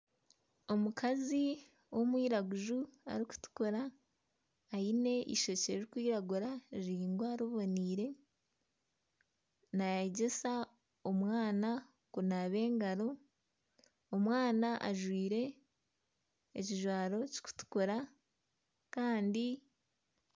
Omukazi w'omwiraguju arikutukura aine eishokye rikwiragura riringwa riboneire naayegyesa omwana kunaaba engaro. Omwana ajwaire ekijwaro kikutukura kandi